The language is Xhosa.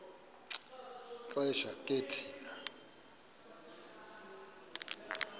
xesha ke thina